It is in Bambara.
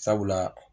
Sabula